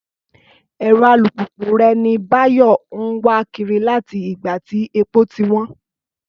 Ẹ̀rọ alùpùpù rẹ̀ ni Báyọ̀ ń wà kiri láti ìgbà tí epo ti wọ́n